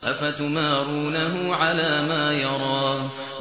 أَفَتُمَارُونَهُ عَلَىٰ مَا يَرَىٰ